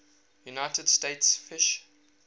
united states fish